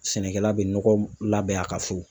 Sɛnɛkɛla bɛ nɔgɔ labɛn a ka so.